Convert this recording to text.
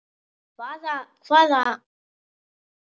Hvaða hvaða.